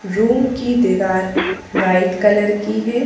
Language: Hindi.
रूम की दीवार व्हाइट कलर की है।